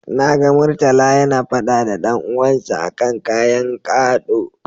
Na ga Murtala yana faɗa da dan uwansa a kan ƙayan gaɗo.